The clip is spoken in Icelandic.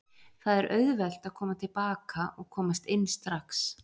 Það er auðvelt að koma til baka og komast inn strax.